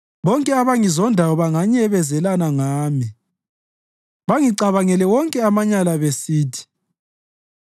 Bonke abangizondayo banyenyezelana ngami; bangicabangela wonke amanyala besithi,